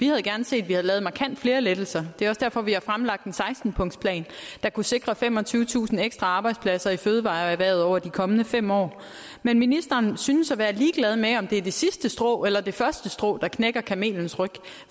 havde gerne set vi havde lavet markant flere lettelser og det er også derfor vi har fremlagt en seksten punktsplan der kunne sikre femogtyvetusind ekstra arbejdspladser i fødevareerhvervet over de kommende fem år men ministeren synes at være ligeglad med om det er det sidste strå eller det første strå der knækker kamelens ryg